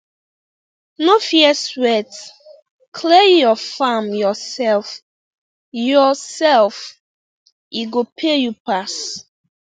no fear sweat clear your farm yourself yourself e go pay you pass